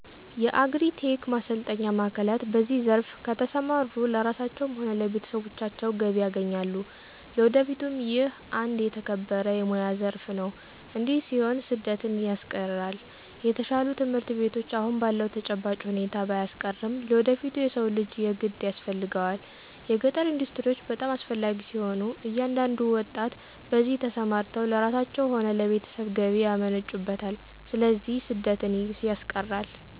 የአግሪ-ቴክ ማሰልጠኛ ማዕከላት በዚህ ዘርፍ ከተሰማሩ ለራሳቸዉም ሆነ ለቤተሰቦቻቸው ገቢ ያገኛሉ ለወደፊቱም ይህ አንድ የተከበረ የሞያ ዘረፍ ነው እዲህ ሲሆን ስደትን ያስቀራል።፣ የተሻሉ ትምህርት ቤቶች አሁን ባለዉ ተጨባጭ ሁኔታ ባያስቀርም ለወደፊቱ የሰው ልጅ የግድ ያስፈልገዋል። የገጠር ኢንዱስትሪዎች በጣም አስፈላጊ ሲሆኑ እያንዳንዱ ወጣት በዚህ ተሰማርተው ለራሳቸው ሆነ ለቤተሰብ ገቢ ያመነጩበታል ስለዚህ ስደትን ያስቀራል።